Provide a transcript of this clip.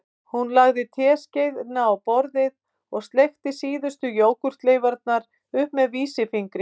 Hún lagði teskeiðina á borðið og sleikti síðustu jógúrtleifarnar upp með vísifingri